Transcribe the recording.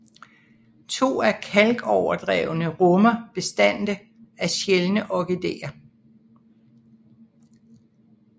To af kalkoverdrevene rummer bestande af sjældne orkideer